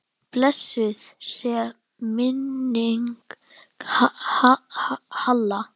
Blessuð sé minning Halla.